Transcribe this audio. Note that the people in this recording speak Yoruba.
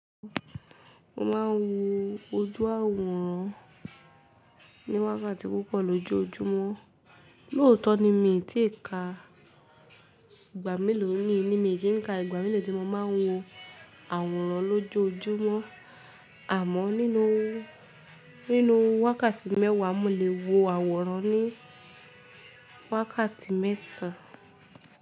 Mo ma ń wo ojú àwòrán ní wákàtí púpọ̀ lójojúmọ́, lóótọ́ ni mi tí ì ka ìgbà mélòó ni mí, mí ki ń ka ìgbà mélòó tí mo ma ń wo àwòrán lójojúmọ́. Àmọ́ nínú, nínú wákàtí mẹ́wàá mo lè wo àwòrán ní wákàtí mẹ́sàn án.